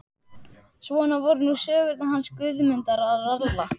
Svona voru nú sögurnar hans Guðmundar ralla.